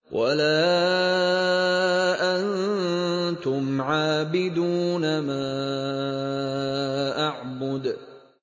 وَلَا أَنتُمْ عَابِدُونَ مَا أَعْبُدُ